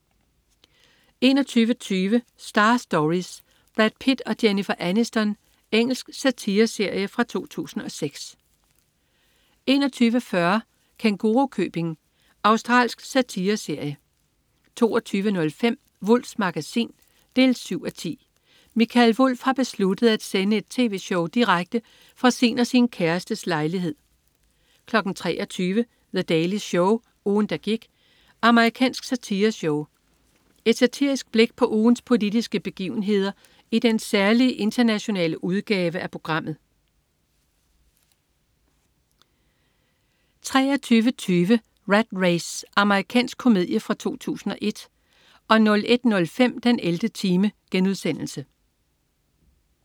21.20 Star Stories: Brad Pitt og Jennifer Aniston. Engelsk satireserie fra 2006 21.40 Kængurukøbing. Australsk satireserie 22.05 Wulffs Magasin 7:10. Mikael Wulff har besluttet at sende et tv-show direkte fra sin og sin kærestes lejlighed 23.00 The Daily Show. Ugen, der gik. Amerikansk satireshow. Et satirisk blik på ugens politiske begivenheder i den særlige internationale udgave af programmet 23.20 Rat Race. Amerikansk komedie fra 2001 01.05 den 11. time*